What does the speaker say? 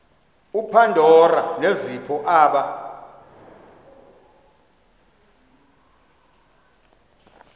upandora nezipho aba